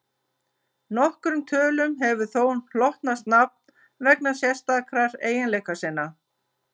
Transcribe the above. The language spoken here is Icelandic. Nokkrum tölum hefur þó hlotnast nafn vegna sérstakra eiginleika sinna.